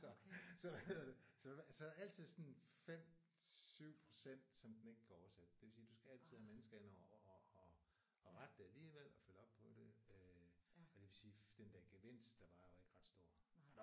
Så så hvad hedder det så altid sådan 5-7 procent som den ikke kan oversætte. Det vil sige du skal altid have mennesker indover og og og og rette det alligevel og følge op på det øh og det vil sige den der gevinst der var var jo ikke ret stor